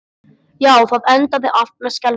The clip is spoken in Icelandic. Já, það endaði allt með skelfingu.